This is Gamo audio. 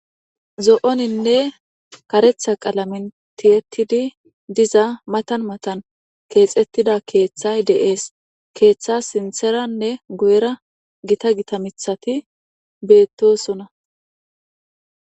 zo7oninne karetha qalaminni tiettidi diza matan matan keexettida keeththay de7es keeththa sintheranne goyra gita gita mithati beettosona